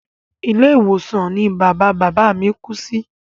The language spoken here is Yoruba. Ilé ìwòsàn ní bàbá bàbá a mí kú sí.